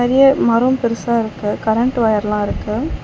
எ மரோ பெருசா இருக்கு கரண்ட் ஒயர்லா இருக்கு.